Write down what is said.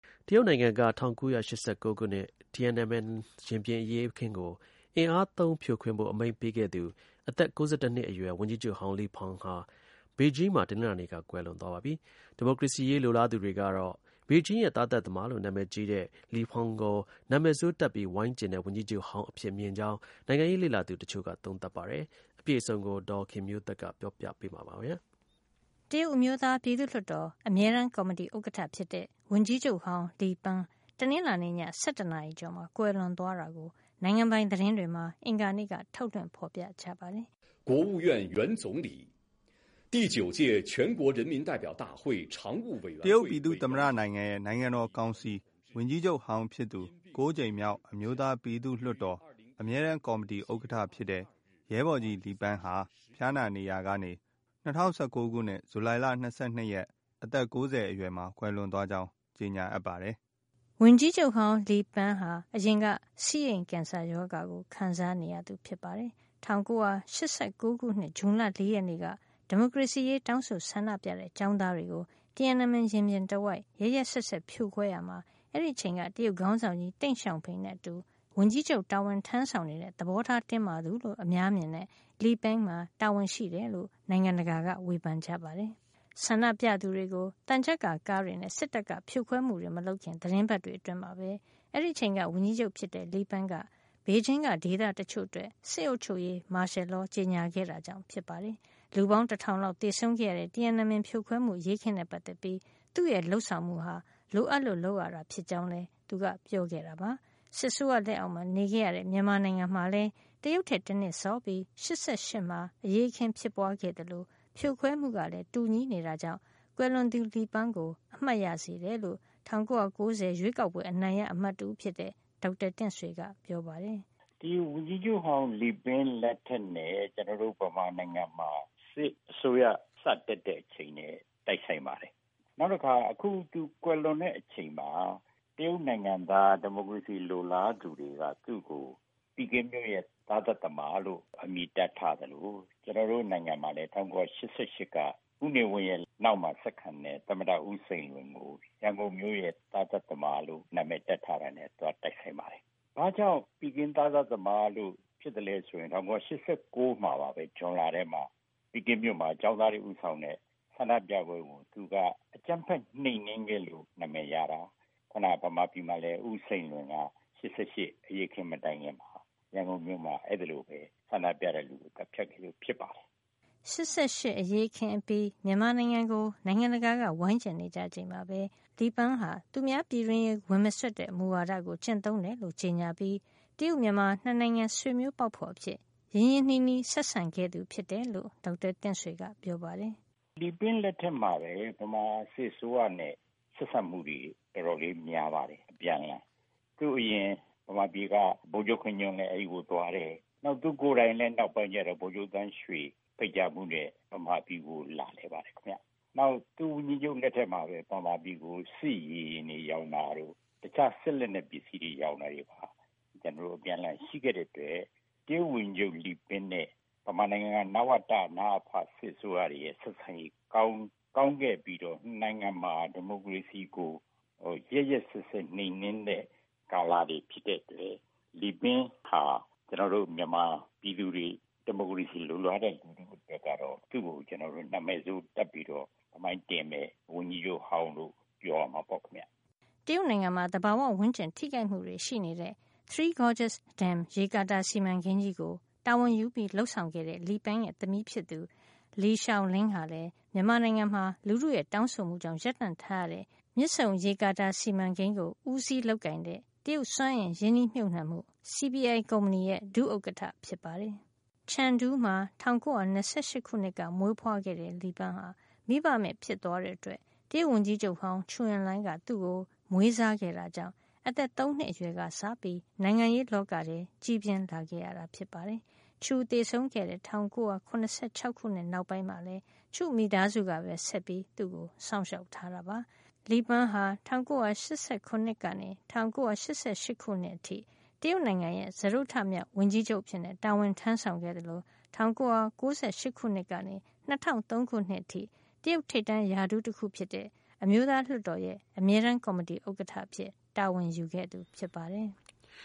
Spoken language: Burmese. တရုတ်နိုင်ငံက ၁၉၈၉ ခုနှစ် Tiananmen ရင်ပြင်အရေးအခင်း ကိုဖြိုခွင်းဖို့ အမိန့်ပေးခဲ့တဲ့ အသက် ၉၁ နှစ်အရွယ် ဝန်ကြီးချုပ်ဟောင်း Li Peng ဟာ ဘေဂျင်းမှာ တနင်္လာနေ့က ကွယ်လွန်သွားပါပြီ။ ဒီမိုကရေစီရေး လိုလားသူတွေကတော့ ဘေဂျင်းရဲ့ သားသတ်သမားလို့ နာမည်ကြီးတဲ့ Li Peng ကို နာမည်ဆိုးတပ်ပြီး ဝိုင်းကျဉ်တဲ့ ဝန်ကြီးချုပ်ဟောင်း အဖြစ်မြင်ကြောင်း နိုင်ငံရေးလေ့လာသူ တချို့က သုံးသပ်ပါတယ်။ အပြည့်အစုံကို ဒေါ်ခင်မျိုးသက်က ပြောပြပေးမှာပါ။ တရုတ်အမျိုးသားပြည်သူ့လွှတ်တော် အမြဲတမ်းကော်မတီ ဥက္ကဖြစ်တဲ့ ဝန်ကြီးချုပ်ဟောင်း Li Peng တနင်္လာနေ့ည ၁၁ နာရီကျော်မှာ ကွယ်လွန်သွားတာကို နိုင်ငံပိုင် သတင်းတွေမှာ အင်္ဂါနေ့က ထုတ်လွှင့်ဖေါ်ပြခဲ့ကြပါတယ်။ “တရုတ်ပြည်သူ့သမ္မတနိုင်ငံရဲ့ နိုင်ငံတော်ကောင်စီ ဝန်ကြီးချုပ်ဟောင်းဖြစ်သူ ၉ ကြိမ်မြောက် အမျိုးသား ပြည်သူ့လွှတ်တော် အမြဲတမ်းကော်မတီ ဥက္ကဌဖြစ်တဲ့ ရဲဘော်ကြီး Li Peng ဟာ ဖျားနာနေရာကနေ ၂၀၁၉ ဇူလိုင်လ ၂၂ ရက် အသက် ၉၀ အရွယ်မှာ ကွယ်လွန်သွားကြောင်း ကြေညာ အပ်ပါသည်” ဝန်ကြီးချုပ်ဟောင်း Li Peng ဟာ အရင်က ဆီးအိမ်ကင်ဆာရောဂါကို ခံစားနေရတာပါ။ ၁၉၈၉ ခုနှစ် ဇွန်လ ၄ ရက်နေ့က ဒီမိုကရေစီရေး တောင်းဆိုဆန္ဒပြတဲ့ ကျောင်းသားတွေကို Tiananmen ရင်ပြင်တဝိုက် ရက်ရက်စက်စက် ဖြိုခွဲရာမှာ အဲဒီအချိန်က တရုတ်ခေါင်းဆောင်ကြီး တိန့်ရှောင်ဖိန်နဲ့အတူ ဝန်ကြီးချုပ်တာဝန်ထမ်းဆောင်နေတဲ့ သဘောထားတင်းမာသူလို့ အများမြင်ကြတဲ့ Li Peng မှာ တာဝန်ရှိတယ်လို့ နိုင်ငံတကာက ဝေဖန်ခဲ့ကြပါတယ်။ ဆန္ဒပြသူတွေကို သံချပ်ကာကားတွေနဲ့ စစ်တပ်က ဖြိုခွဲမှု မလုပ်ခင် သီတင်းပတ်တွေမှာပဲ အဲဒီအချိန်က ဝန်ကြီးချုပ်ဖြစ်တဲ့ Li Peng က ဘေဂျင်းက ဒေသတချို့အတွက် စစ်အုပ်ချုပ်ရေး မာရှယ်လော ကြေညာခဲ့တာကြောင့် ဖြစ်ပါတယ်။ လူပေါင်း တထောင်လောက် သေဆုံးခဲ့ရတဲ့ Tiananmen ဖြိုခွဲမှု အရေးအခင်းနဲ့ ပတ်သက်ပြီး သူ့ရဲ့ လုပ်ဆောင်မှုဟာ လိုအပ်လို့ လုပ်ဆောင်ရတာ ဖြစ်ကြောင်း လည်း သူက ပြောခဲ့တာပါ။ စစ်အစိုးရလက်အောက်မှာ နေခဲ့ရတဲ့ မြန်မာနိုင်ငံမှာလည်း တရုတ်ထက် တနှစ်စောပြီး ၈၈ မှာ အရေးအခင်း ဖြစ်ပွားခဲ့သလို ဖြိုခွဲမှုကလည်း တူညီနေတာကြောင့် ကွယ်လွန်သူ Li Peng ကို အမှတ်ရစေတယ်လို့ ၁၉၉၀ ရွေးကောက်ပွဲ အနိုင်ရအမတ်တဦးဖြစ်တဲ့ ဒေါက်တာတင့်ဆွေက ပြောပါတယ်။ "ဒီ ဝန်ကြီးချုပ်ဟောင်း Li Peng လက်ထက်နဲ့ ကျနော်တို့ မြန်မာနိုင်ငံမှာ စစ်အစိုးရ စတက်တဲ့အချိန်နဲ့ တိုက်ဆိုင်ပါတယ်။ နောက်တခါ သူအခု ကွယ်လွန်တဲ့အချိန်မှာ တရုတ်နိုင်ငံက ဒီမိုကရေစီ လိုလားသူတွေက သူ့ကို ပီကင်းမြို့ရဲ့ သားသတ်သမားလို့ အမည်တပ်ထားသလို ကျနော်တို့ နိုင်ငံမှာလည်း ၁၉၈၈ က ဦးနေဝင်းနောက်မှာ ဆက်ခံတဲ့ သမ္မတ ဦးစိန်လွင်ကို ရန်ကုန်မြို့ရဲ့ သားသတ်သမားလို့ အမည်တပ်ထားတာနဲ့ သွားတိုက်ဆိုင်ပါတယ်။ ဘာကြောင့် ပီကင်း သားသတ်သမားလို့ ဖြစ်တာလဲဆိုရင် ၁၉၈၉ ဇွန်လမှာ ပီကင်းမြို့မှာ ကျောင်းသားတွေဦးဆောင်တဲ့ ဆန္ဒပြပွဲကို သူက အကြမ်းဖက် နှိမ်နင်းခဲ့လို့ နာမည်ရတာ။ ခုန မြန်မာပြည်မှာလည်း ဦးစိန်လွင်က ၈၈ အရေးအခင်းမတိုင်မီ ရန်ကုန်မြို့မှာ အဲလိုပဲ ဆန္ဒပြတဲ့လူတွေကို သတ်ဖြတ်ခဲ့လို့ ဖြစ်ပါတယ်။" ၈၈ အရေးအခင်းအပြီး မြန်မာနိုင်ငံကို နိုင်ငံတကာက ဝိုင်းကျဉ်နေကြချိန်မှာ Li Peng က သူများပြည်တွင်းရေး ဝင်မစွက်တဲ့ မူဝါးကို ကျင့်သုံးတယ်လို့ ကြေညာပြီး တရုတ် - မြန်မာ ၂ နိုင်ငံဆွေမျိုးပေါက်ဖေါ် အဖြစ် ရင်းရင်းနှီးနှီး ဆက်ဆံခဲ့ သူ ဖြစ်တယ်လို့ ဒေါက်တာတင့်ဆွေက ပြောပါတယ်။ "Li Peng လက်ထက်မှာ မြန်မာစစ်အစိုးရနဲ့ ဆက်ဆံမှုတွေ တော်တော်လေးများပါတယ် အပြန်အလှန်။ သူ့အရင် မြန်မာပြည်က ဗိုလ်ချုပ်ခင်ညွှန့်လည်း တရုတ်ပြည်သွားတယ်။ နောက်ပိုင်း သူကိုယ်တိုင်လည်း ဗိုလ်ချုပ်သန်းရွှေ ဖိတ်ကြားမှုနဲ့ မြန်မာပြည်ကို လာလည်တယ်။ သူ့ဝန်ကြီးချုပ် လက်ထက်မှာ စစ်လေယာဉ်တို့ရောင်းတာတို့၊ တခြား စစ်လက်နက် ပစ္စည်းတွေရောင်းတာတို့ အပြန်အလှန်ရှိခဲ့တဲ့အတွက် တရုတ်ဝန်ကြီးချုပ် Li Peng နဲ့ မြန်မာနိုင်ငံက နဝတ ၊ နအဖ စစ်အစိုးရတွေရဲ့ ဆက်ဆံရေး ကောင်းခဲ့ပြီးတော့ ၂ နိုင်ငံမှာ ဒီမိုကရေစီကို ရက်ရက်စက်စက် နှိမ်နင်းတဲ့ ကာလတွေဖြစ်တဲ့အတွက် Li Peng ဟာ ကျနော်တို့ မြန်မာပြည်သူတွေ ဒီမိုကရေစီ လိုလားတဲ့လူတွေကတော့ သူ့ကို နာမည်ဆိုး တပ်ပြီးတော့ သမိုင်းတွင်တဲ့ ဝန်ကြီးချုပ်ဟောင်းဆိုပြီးတော့ ပြောရမှာပေ့ါခင်ဗျ။" တရုတ်နိုင်ငံမှာ သဘာဝဝန်းကျင် ထိခိုက်မှုတွေရှိနေတဲ့ Three Gorges Dam ရေကာတာ စီမံကိန်ုးကြီးကို Li Peng က တာဝန်ယူ လုပ်ဆောင်ခဲ့တာ ဖြစ်ပြီး မြန်မာနိုင်ငံမှာတော့ လူထုရဲ့ တောင်းဆိုမှုကြောင့် ရပ်တံ့ထားရတဲ့ မြစ်ဆုံရေကာတာစီမံကိန်းကို ဦးစီးလုပ်ကိုင်တဲ့ တရုတ် စွမ်းအင်ရင်းနှီးမြှုပ်နံှမှု CPI ကုမ္ပဏီရဲ့ ဒုဥက္ကဌဟာ Li Peng ရဲ့ သမီးဖြစ်သူ Li Xiaolin ဖြစ်ပါတယ်။ ချန်ဒူးမှာ ၁၉၂၈ ခုနှစ်က မွေးဖွားခဲ့တဲ့ Li Peng ဟာ မိဘမဲ့ဖြစ်သွားတဲ့ အတွက် တရုတ်ဝန်ကြီးချုပ်ဟောင်း ချူအင်လိုင်းက သူ့ကို မွေးစားခဲ့တာကြောင့် အသက် ၃ နှစ်အရွယ်ကစပြီး နိုင်ငံရေး လောကထဲကြီးပြင်းလာခဲ့တာ ဖြစ်ပါတယ်။ ချူ သေဆုံးခဲ့တဲ့ ၁၉၇၆ နောက်ပိုင်းမှာလည်း ချူ့ မိသားစုကပဲ ဆက်ပြီး စောင့်ရှောက်ထားတာပါ။ Li Peng ဟာ ၁၉၈၇ ကနေ ၁၉၉၈ ခုနှစ်အထိ တရုတ်နိုင်ငံရဲ့ စတုတ္တမြောက် ဝန်ကြီးချုပ်အဖြစ် တာဝန်ထမ်းဆောင်ခဲ့သလို ၁၉၉၈ ခုနှစ်ကနေ ၂၀၀၃ ခုနှစ်အထိ တရုတ်ထိပ်တန်းရာထူးတခုဖြစ်တဲ့ အမျိုးသားလွှတ်တော်ရဲ့ အမြဲတမ်းကော်မတီ ဥက္ကဌ အဖြစ်တာဝန်ယူခဲ့တာ ဖြစ်ပါတယ်။